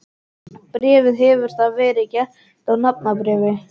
Bréfið hefur þá verið gert að nafnbréfi.